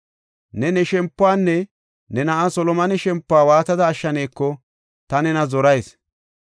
Ne ne shempuwanne ne na7aa Solomone shempuwa waatada ashshaneko ta nena zorayis.